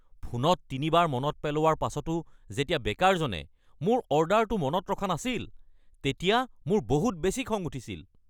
ফোনত তিনিবাৰ মনত পেলোৱাৰ পাছতো যেতিয়া বেকাৰজনে মোৰ অৰ্ডাৰটো মনত ৰখা নাছিল তেতিয়া মোৰ বহুত বেছি খং উঠিছিল।